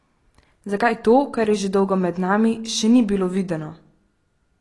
Zakaj to, kar je že dolgo med nami, še ni bilo videno?